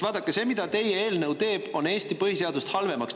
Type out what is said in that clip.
Vaadake, teie eelnõu teeb Eesti põhiseadust halvemaks.